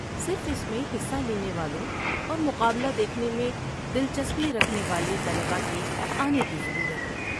صرف اس میں حصہ لینے والوں اور مقابلہ دیکھنے میں دلچسپی رکھنے والے طلبہ کے آنے کی ضرورت ہے۔